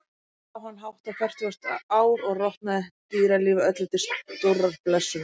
Þar lá hann hátt á fertugasta ár og rotnaði, dýralífi öllu til stórrar blessunar.